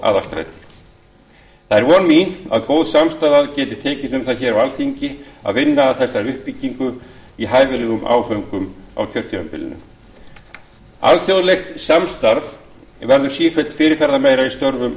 í aðalstræti það er von mín að góð samstaða geti tekist um það hér á alþingi að vinna að þessari uppbyggingu í hæfilegum áföngum á kjörtímabilinu alþjóðlegt samstarf verður sífellt fyrirferðarmeira í störfum